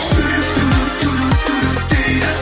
жүрек дейді